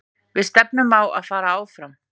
Við stefnum á að fara áfram.